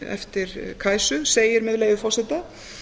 eftir kajsu segir með leyfi forseta